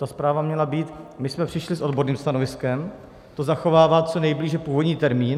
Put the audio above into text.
Ta zpráva měla být - my jsme přišli s odborným stanoviskem, to zachovává co nejblíže původní termín.